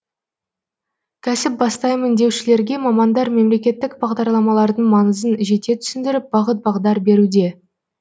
кәсіп бастаймын деушілерге мамандар мемлекеттік бағдарламалардың маңызын жете түсіндіріп бағыт бағдар беруде